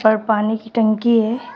पर पानी की टंकी है।